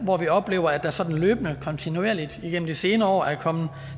hvor vi har oplevet at der sådan løbende kontinuerligt igennem de senere år er kommet